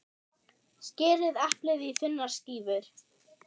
Skerið eplið í þunnar skífur.